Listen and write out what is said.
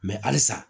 halisa